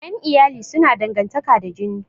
Ƴan iyali suna dangantaƙa da jini